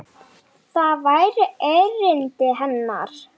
Það væri erindi hennar.